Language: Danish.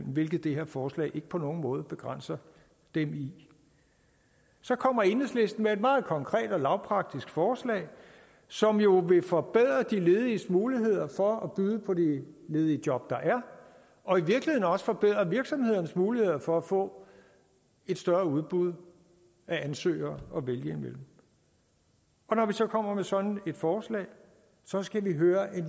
hvilket det her forslag på ingen måde begrænser dem i så kommer enhedslisten med et meget konkret og lavpraktisk forslag som jo vil forbedre de lediges muligheder for at byde på de ledige job der er og i virkeligheden også forbedre virksomhedernes muligheder for at få et større udbud af ansøgere at vælge imellem og når vi så kommer med sådan et forslag så skal vi høre